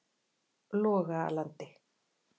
Logalandi